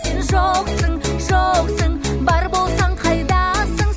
сен жоқсың жоқсың бар болсаң қайдасың